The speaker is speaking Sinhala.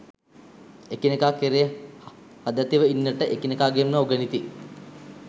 එකිනෙකා කෙරේ හදැතිව ඉන්නට එකිනෙකාගෙන්ම උගනිති